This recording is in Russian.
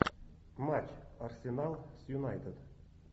матч арсенал с юнайтед